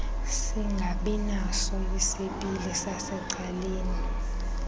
singabinaso isipili sasecaleni